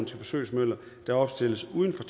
til forsøgsmøller der opstilles uden for